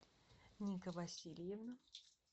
ника васильевна